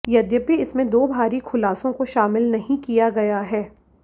यद्यपि इसमें दो भारी खुलासों को शामिल नहीं किया गया है